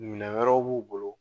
Minɛn wɛrɛw b'u bolo